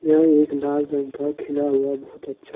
यह एक लाल रंग का खिला हुआ बहुत अच्छा--